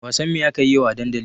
Wasan me akayi yau a dandali?